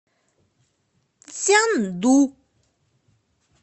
цзянду